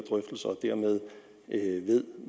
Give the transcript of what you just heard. dermed ved